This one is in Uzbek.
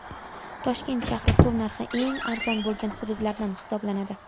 Toshkent shahri suv narxi eng arzon bo‘lgan hududlardan hisoblanadi.